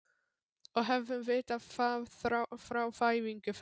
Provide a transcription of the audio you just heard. Og hefðum vitað það frá fæðingu þess.